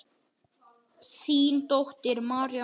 Þín dóttir, María Marta.